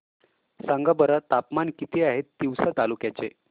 सांगा बरं तापमान किती आहे तिवसा तालुक्या चे